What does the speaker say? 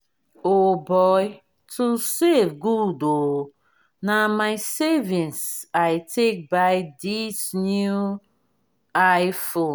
o boy to save good oo na my savings i take buy dis new i-phone